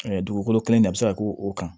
dugukolo kelen in de bɛ se ka k'o kan